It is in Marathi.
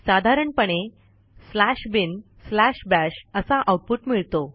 साधारणपणे binbash असा आऊटपुट मिळतो